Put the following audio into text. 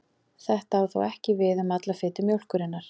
Þetta á þó ekki við um alla fitu mjólkurinnar.